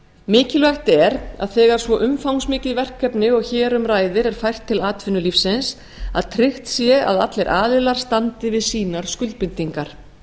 mikilvægt er að þegar svo umfangsmikið verkefni og hér um ræðir er fært til atvinnulífsins að tryggt sé að allir aðilar standi við sínar skuldbindingar